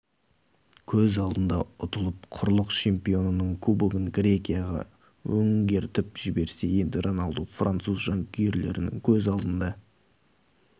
көз алдында ұтылып құрлық чемпионының кубогын грекияға өңгертіп жіберсе енді роналду француз жанкүйерлерінің көз алдында